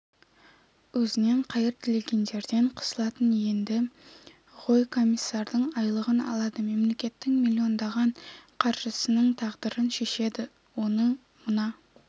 өзінен қайыр тілегендерден қысылатын енді ғой комиссардың айлығын алады мемлекеттің миллиондаған қаржысының тағдырын шешеді оны мына